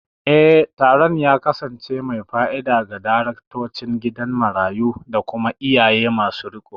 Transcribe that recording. Eh, taron ya kasance mai fa'ida ga daraktocin gidan marayu da kuma iyaye masu riƙo.